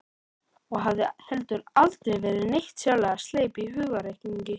Og hafði heldur aldrei verið neitt sérlega sleip í hugarreikningi.